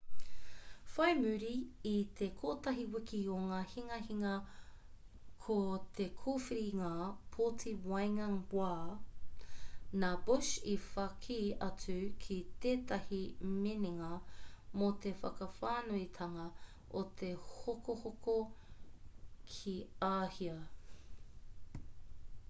whai muri i te kotahi wiki o ngā hinganga ki te kōwhiringa pōti waenga wā nā bush i whaki atu ki tētahi minenga mō te whakawhānuitanga o te hokohoko ki āhia